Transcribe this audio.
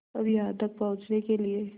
अब यहाँ तक पहुँचने के लिए